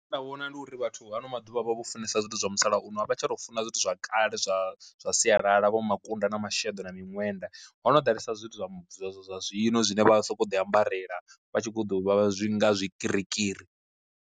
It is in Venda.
Nda vhona ndi uri vhathu hano maḓuvha avho vho funesa zwithu zwa musalauno a vha tsha tou funa zwithu zwa kale zwa zwa sialala vho makunda na masheḓo na miṅwenda, hono ḓalesa zwithu zwa zwa zwa zwa zwino zwine vha soko ḓi ambarela vha tshi kho ḓo vha zwi nga zwikirikiri.